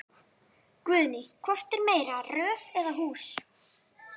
Guðný: Hvort er meira röð eða hús?